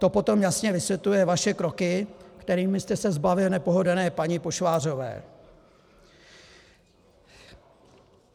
To potom jasně vysvětluje vaše kroky, kterými jste se zbavil nepohodlné paní Pošvářové.